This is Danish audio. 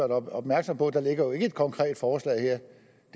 opmærksom på at der jo ikke ligger et konkret forslag her